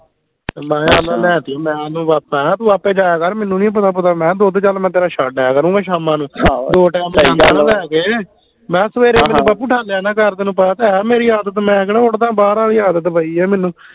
ਮੈਂ ਅੱਛਾ ਲਿਆ ਤੀ ਮੈਂ ਓਨੂੰ ਮੈਂ ਕਿਹਾ ਤੂੰ ਆਪੇ ਜਾਇਆ ਕਰ ਮੈਨੂੰ ਨੀ ਪਤਾ ਪੂਤਾ ਮੈਂ ਦੁੱਧ ਚੱਲ ਮੈਂ ਤੇਰਾ ਛੱਡ ਆਇਆ ਕਰੂੰਗਾ ਸ਼ਾਮਾਂ ਨੂੰ ਆਹੋ ਸਹੀ ਦੋ ਟੈਮ ਜਾਂਦਾ ਨਾ ਲੈ ਕੇ ਮੈਂ ਕਿਹਾ ਸਵੇਰੇ ਬਾਪੂ ਨਾ ਕਰ ਤੈਨੂੰ ਪਤਾ ਤਾਂ ਹੈ ਮੇਰੀ ਆਦਤ ਮੈਂ ਕਿਹੜਾ ਉੱਠਦਾਂ ਬਾਹਰ ਆਲੀ ਆਦਤ ਪਈ ਆ ਮੈਨੂੰ